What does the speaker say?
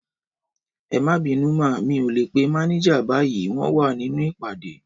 Ẹmabinu má, mi ò lè pé mànéjà báyìí, wọn wá nínú ìpàdé